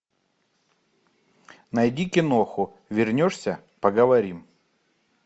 найди киноху вернешься поговорим